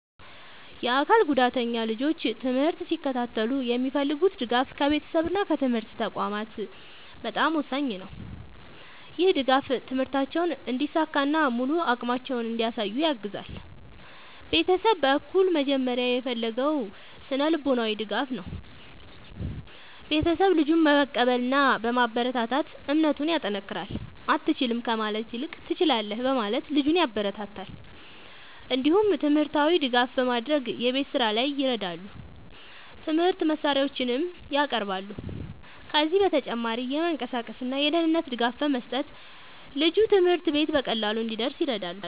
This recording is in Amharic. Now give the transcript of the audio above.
የአካል ጉዳተኛ ልጆች ትምህርት ሲከታተሉ የሚፈልጉት ድጋፍ ከቤተሰብ እና ከትምህርት ተቋማት በጣም ወሳኝ ነው። ይህ ድጋፍ ትምህርታቸውን እንዲሳካ እና ሙሉ አቅማቸውን እንዲያሳዩ ያግዛል። ቤተሰብ በኩል መጀመሪያ የሚፈለገው ስነ-ልቦናዊ ድጋፍ ነው። ቤተሰብ ልጁን በመቀበል እና በማበረታታት እምነቱን ያጠናክራል። “አትችልም” ከማለት ይልቅ “ትችላለህ” በማለት ልጁን ያበረታታል። እንዲሁም ትምህርታዊ ድጋፍ በማድረግ የቤት ስራ ላይ ይረዳሉ፣ የትምህርት መሳሪያዎችንም ያቀርባሉ። ከዚህ በተጨማሪ የመንቀሳቀስ እና የደህንነት ድጋፍ በመስጠት ልጁ ትምህርት ቤት በቀላሉ እንዲደርስ ይረዳሉ።